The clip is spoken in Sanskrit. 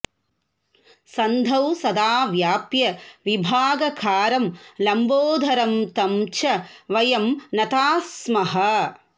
सन्धौ सदा व्याप्य विभागकारं लम्बोदरं तं च वयं नताः स्मः